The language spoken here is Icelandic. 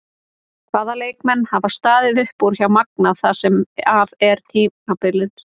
Hvaða leikmenn hafa staðið upp úr hjá Magna það sem af er tímabili?